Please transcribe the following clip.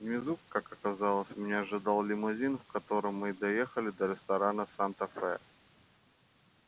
внизу как оказалось меня ожидал лимузин в котором мы доехали до ресторана санта фе